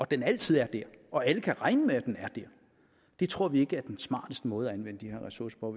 den altid er der og alle kan regne med at den er der det tror vi ikke er den smarteste måde at anvende de her ressourcer på